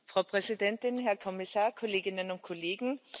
Frau Präsidentin, Herr Kommissar, Kolleginnen und Kollegen!